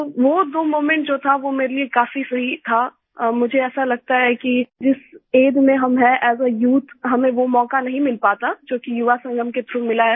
तो वो दो मोमेंट जो था वो मेरे लिए काफी सही था और मुझे ऐसा लगता है कि जिस एजीई में हम हैंas आ यूथ हमें वो मौका नहीं मिल पाता जोकि युवा संगम के थ्राउघ मिला है